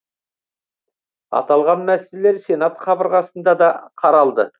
аталған мәселелер сенат қабырғасында да қаралды